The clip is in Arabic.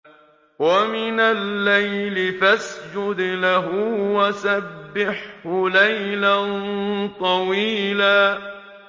وَمِنَ اللَّيْلِ فَاسْجُدْ لَهُ وَسَبِّحْهُ لَيْلًا طَوِيلًا